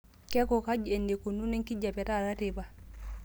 keeku kaji eneikununo enkijiape taata teipa